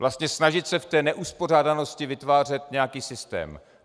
Vlastně snažit se v té neuspořádanosti vytvářet nějaký systém.